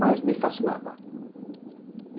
Mas me fascinava.